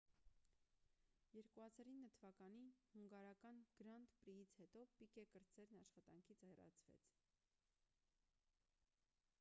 2009 թվականի հունգարական «գրանդ պրի»-ից հետո պիկե կրտսերն աշխատանքից հեռացվեց: